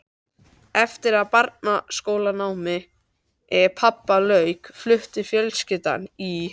Eftir að barnaskólanámi pabba lauk flutti fjölskyldan í